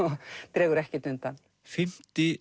dregur ekkert undan fimmta